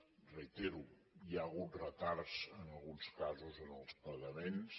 ho reitero hi ha hagut retards en alguns casos en els pagaments